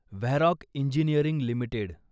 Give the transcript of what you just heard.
Varroc engineering limited